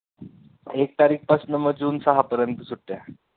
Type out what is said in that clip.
एक तारीख पासनं मग जून सहापर्यंत सुट्ट्या